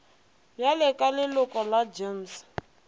bjale ka leloko la gems